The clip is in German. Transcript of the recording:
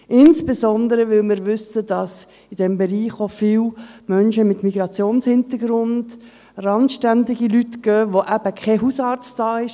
Insbesondere weil wir wissen, dass in diesem Bereich viele Menschen mit Migrationshintergrund, randständige Leute gehen, welche keinen Hausarzt haben.